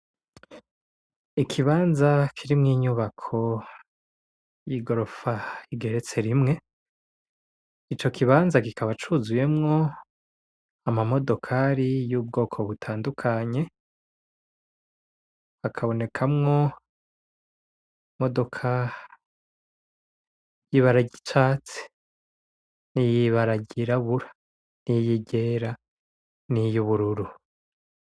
ikibanza kirimwo inyubako y'igorofa igeretse rimwe, ico kibanza kikaba cuzuyemwo amamodokari y'ubwoko butandukanye hakabonekamwo imodoka y'ibara ry'icatsi; niy'ibara ryirabura.